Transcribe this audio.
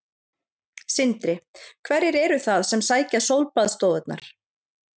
Sindri: Hverjir eru það sem sækja sólbaðsstofurnar?